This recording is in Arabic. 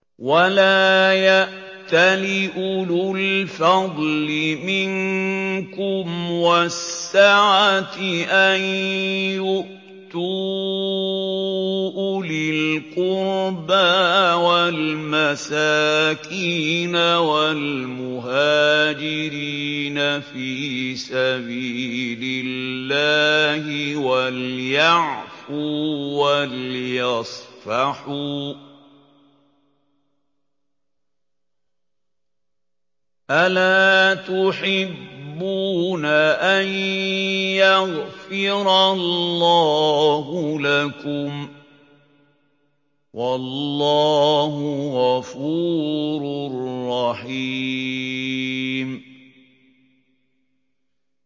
وَلَا يَأْتَلِ أُولُو الْفَضْلِ مِنكُمْ وَالسَّعَةِ أَن يُؤْتُوا أُولِي الْقُرْبَىٰ وَالْمَسَاكِينَ وَالْمُهَاجِرِينَ فِي سَبِيلِ اللَّهِ ۖ وَلْيَعْفُوا وَلْيَصْفَحُوا ۗ أَلَا تُحِبُّونَ أَن يَغْفِرَ اللَّهُ لَكُمْ ۗ وَاللَّهُ غَفُورٌ رَّحِيمٌ